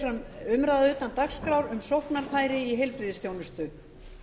fer fram umræða utan dagskrár um sóknarfæri í heilbrigðisþjónustu